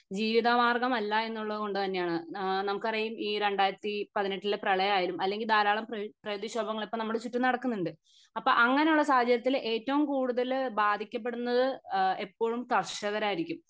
ജീവിതമാർഗം അല്ല എന്നുള്ളത് കൊണ്ട് തന്നെ ആണ് അഹ് നമുക്കറിയും ഈ രണ്ടായിരത്തി പതിനെട്ടിലെ പ്രളയം ആയാലും അല്ലെങ്കി ധാരാളം പ്രകൃതിക്ഷോഭങ്ങൾ ഇപ്പൊ നമ്മുടെ ചുറ്റും നടക്കുന്നുണ്ട് അപ്പൊ അങ്ങിനെ ഉള്ള സാഹചര്യത്തിൽ ഏറ്റവും കൂടുതൽ ബാധിക്കപെടുന്നത് എപ്പോഴും കർഷകരായിരിക്കും